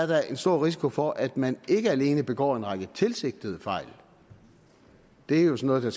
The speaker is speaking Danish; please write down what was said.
der stor risiko for at man ikke alene begår en række tilsigtede fejl det er jo sådan